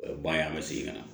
O ye ban ye an bɛ segin ka na